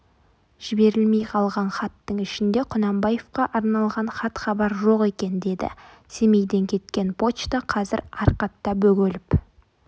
жіберілмей қалған хаттың ішінде құнанбаевқа арналған хат-хабар жоқ екен деді семейден кеткен почта қазір арқатта бөгеліп